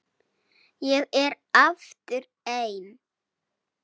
Ég er aftur ein.